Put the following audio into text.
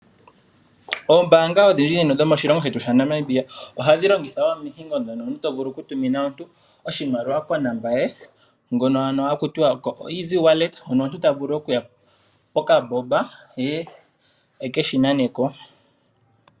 Ombaanga odhindji dhomoshilongo shetu shaNamibia ohadhi longitha omihingo ndhono to vulu okutumina omuntu oshimaliwa konomola ye. Ngono haku tiwa oeasy wallet hono omuntu ta vulu okuya kokambomba e ke shi nane ko.